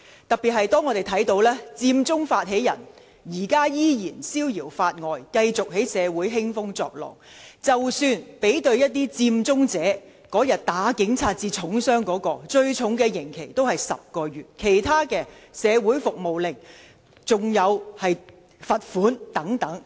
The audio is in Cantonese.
特別要指出的是，佔中發起人如今依然逍遙法外，繼續在社會興風作浪，即使對比打警察至重傷的佔中者，最重的刑期也不過是10個月，其他人士只被判社會服務令，甚至以罰款了事。